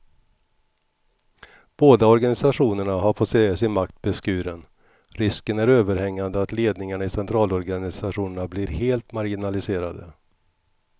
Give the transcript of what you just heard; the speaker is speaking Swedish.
Båda organisationerna har fått se sin makt beskuren, risken är överhängande att ledningarna i centralorganisationerna blir helt marginaliserade.